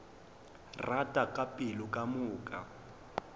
rata ka pelo ka moka